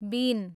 बिन